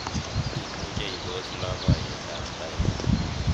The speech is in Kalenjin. imuche ipos loboiyet ab tait